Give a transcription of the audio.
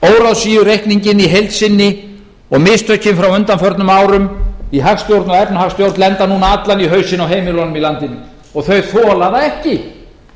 að láta óráðsíureikninginn í heild sinni og mistökin frá undanförnum árum í hagstjórn og efnahagsstjórn lenda núna allan í hausinn á heimilunum í landinu og þau þola það ekki